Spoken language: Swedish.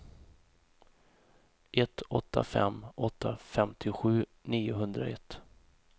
ett åtta fem åtta femtiosju niohundraett